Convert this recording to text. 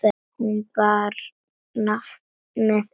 Hún bar nafn með rentu.